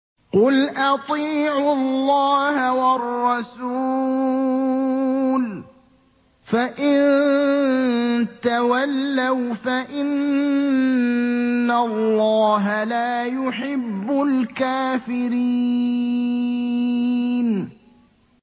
قُلْ أَطِيعُوا اللَّهَ وَالرَّسُولَ ۖ فَإِن تَوَلَّوْا فَإِنَّ اللَّهَ لَا يُحِبُّ الْكَافِرِينَ